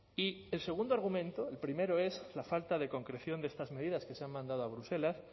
y el segundo argumento el primero es la falta de concreción de estas medidas que se han mandado a bruselas